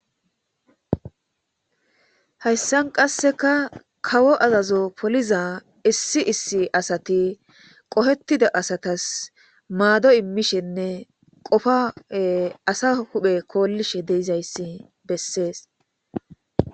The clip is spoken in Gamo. hayssan qasseka kawo azazo poliza issi issi asati qohetida asatas maado immishenne qofa ee asa huphe koollishe deizayssi bessees